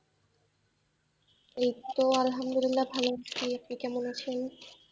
এই তো আল্হামদুলিল্লা ভালো আছি, আপনি কেমন আছেন?